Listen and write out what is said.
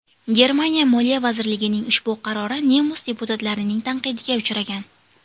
Germaniya moliya vazirligining ushbu qarori nemis deputatlarining tanqidiga uchragan.